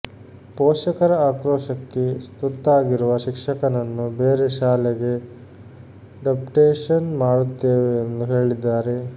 ಪೋಷಕರ ಆಕ್ರೋಶಕ್ಕೆ ತುತ್ತಾಗಿರುವ ಶಿಕ್ಷಕನನ್ನು ಬೇರೆ ಶಾಲೆಗೆ ಡಪ್ಟೇಷನ್ ಮಾಡುತ್ತೇವೆ ಎಂದು ಹೇಳಿದ್ದಾರೆ